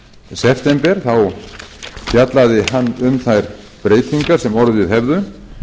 september þá fjallaði hann um þær breytingar sem orðið hefðu